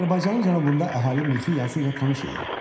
Azərbaycanın cənubunda əhali mexi yazı ilə tanış idi.